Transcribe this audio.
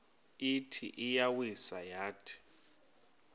ithi iyawisa yathi